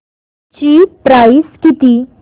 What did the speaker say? ची प्राइस किती